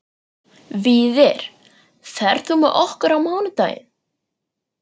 Víðir, ferð þú með okkur á mánudaginn?